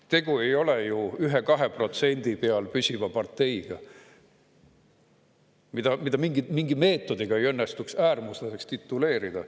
Tegu ei ole ju 1–2% peal püsiva parteiga, mida mingi meetodiga ei õnnestuks äärmuslaseks tituleerida.